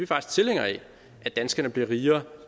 faktisk tilhængere af at danskerne bliver rigere